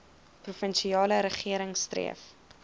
provinsiale regering streef